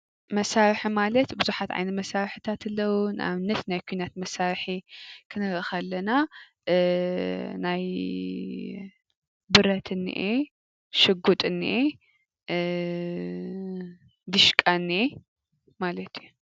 መሳርሒ ማለት ብዙሓት ዓይነት መሳርሕታት ኣለው። ንእብነት ናይ ኩናት መሳርሒ ክንርኢ ከለና ናይ ብረት እኒሀ፣ ሽጉጥ እኒሀ፣ ዲሽቃ እኒሀ ማለት እዩ፡፡